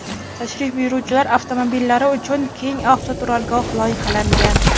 Tashrif buyuruvchilar avtomobillari uchun keng avtoturargoh loyihalangan.